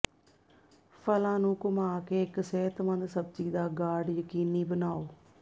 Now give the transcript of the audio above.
ਫਲਾਂ ਨੂੰ ਘੁੰਮਾ ਕੇ ਇੱਕ ਸਿਹਤਮੰਦ ਸਬਜ਼ੀ ਦਾ ਗਾਰਡ ਯਕੀਨੀ ਬਣਾਉ